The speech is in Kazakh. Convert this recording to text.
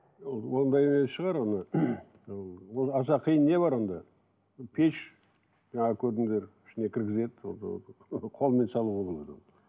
ол ондай не шығар ы ол аса қиын не бар онда пеш жаңа көрдіңдер ішіне кіргізеді қолмен салуға болады оны